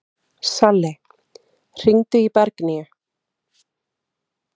Salli, hringdu í Bergnýju.